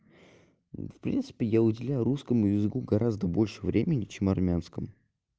в принципе я уделяю русскому языку гораздо больше времени чем армянскому